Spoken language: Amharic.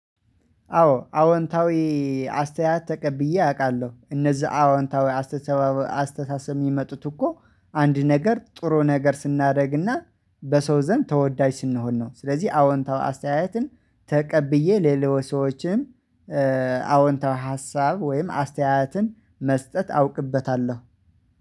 አዎ አዎንታዊ። አስተያየት ተቀብዬ አውቃለሁ እነዛ አዎንታዊ አስተሳሰብ የሚመጡት እኮ አንድ ነገር ጥሩ ነገር ስናደርግና በሰው ዘንድ ተወዳጅ ስንሆን ነው። ስለዚህ አዎንታዊ አስተያየትን ተቀብዬ ለሌሎች ሰዎችም አዎንታዊ ሀሳብ ወይም አስተያየትን መስጠት አውቅበታለሁ